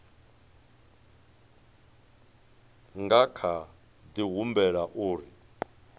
nga kha di humbela uri